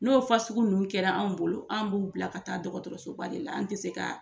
N'o fa sugu nunnu kɛra anw bolo, an b'u bila ka taa dɔgɔtɔrɔsoba de la, an tɛ se ka.